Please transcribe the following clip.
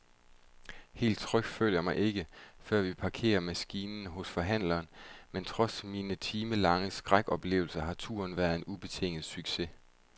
Helt tryg føler jeg mig ikke, før vi parkerer maskinen hos forhandleren, men trods min timelange skrækoplevelse har turen været en ubetinget succes.